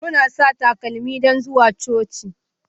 Muna sa takalma don zuwa coci